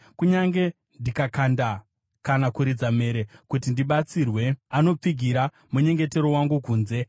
Kunyange ndikadana kana kuridza mhere kuti ndibatsirwe, anopfigira munyengetero wangu kunze.